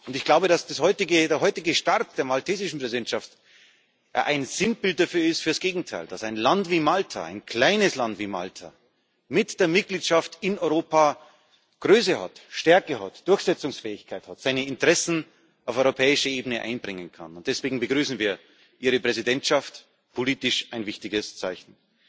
Ich glaube, dass der heutige Start der maltesischen Präsidentschaft ein Sinnbild für das Gegenteil ist dass ein Land wie Malta, ein kleines Land wie Malta, mit der Mitgliedschaft in Europa Größe hat, Stärke hat, Durchsetzungsfähigkeit hat, seine Interessen auf europäischer Ebene einbringen kann. Deswegen begrüßen wir Ihre Präsidentschaft politisch ein wichtiges Zeichen.